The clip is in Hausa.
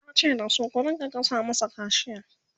yace da su "ku rinka gasa masa kaciyan!''